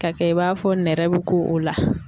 Ka kɛ i b'a fɔ nɛrɛ bɛ ko o la.